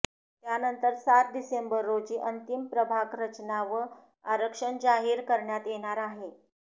त्यानंतर सात डिसेंबर रोजी अंतिम प्रभाग रचना व आरक्षण जाहीर करण्यात येणार आहे